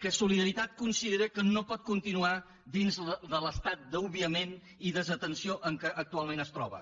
que solidaritat considera que no pot continuar dins de l’estat d’obviament i desatenció en què actualment es troba